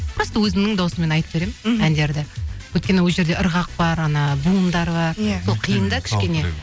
просто өзімнің дауысымен айтып беремін мхм әндерді өйткені ол жерде ырғақ бар буындар бар иә сол қиын да кішкене